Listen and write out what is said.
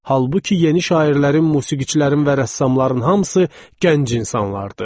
Halbuki yeni şairlərin, musiqiçilərin və rəssamların hamısı gənc insanlar idi.